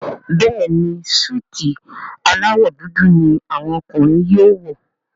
Béèni Súìtì alawọ dúdú ní àwọn ọkùnrin yóò wọ.